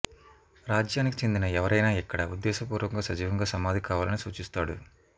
రాజ్యానికి చెందిన ఎవరైనా ఇక్కడ ఉద్దేశపూర్వకంగా సజీవంగా సమాధి కావాలని సూచిస్తాడు